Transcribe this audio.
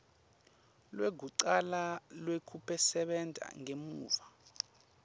lwekucala lwekusebenta ngemuva